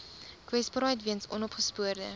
kwesbaarheid weens onopgespoorde